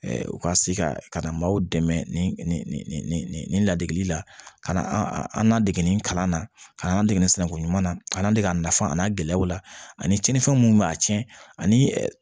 u ka se ka ka na maaw dɛmɛ ni ladege la ka na an n'an dege kalan na ka n'an dege sinankunya na ka na dege a nafa a n'a gɛlɛyaw la ani cɛninfɛn minnu bɛ a tiɲɛ ani